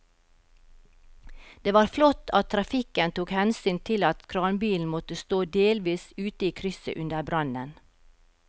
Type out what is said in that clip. Det var flott at trafikken tok hensyn til at kranbilen måtte stå delvis ute i krysset under brannen.